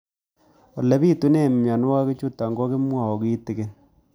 Ole pitune mionwek chutok ko kimwau kitig'�n